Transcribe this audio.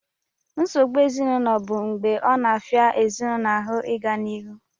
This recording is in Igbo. Nsogbu ezinaụlọ bụ mgbe ọ na-afịa ezinaụlọ ahụ ịga n'ihu